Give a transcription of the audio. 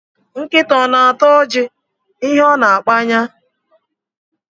Nkita o na-ata oji, ihe o na-akpaya?